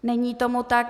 Není tomu tak.